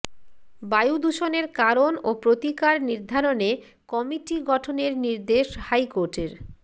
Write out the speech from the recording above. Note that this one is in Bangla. বায়ু দূষণের কারণ ও প্রতিকার নির্ধারণে কমিটি গঠনের নির্দেশ হাইকোর্টের